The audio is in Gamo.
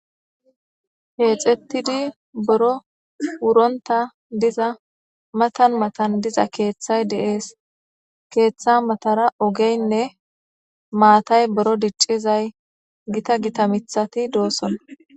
Keexettidi boro wuronta diza matan matan diza keeththay deees. keeththa matara ogeynne maatay boro diccizay gita gita mithati doosona.